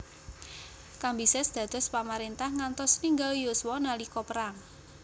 Kambises dados pamarintah ngantos ninggal yuswa nalika perang